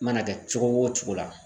Mana kɛ cogo o cogo la.